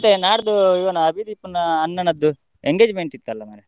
ಮತ್ತೆ ನಾಡ್ದು ಇವನ ಅಭಿದೀಪ್ನ ಅಣ್ಣನದ್ದು, engagement ಇತ್ತಲ್ಲ ಮಾರ್ರೆ.